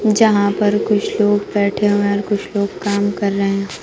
जहां पर कुछ लोग बैठे हुए हैं और कुछ लोग काम कर रहे हैं।